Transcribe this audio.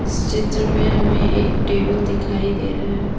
चित्र में हमें एक टेबल दिखाई दे रहा है।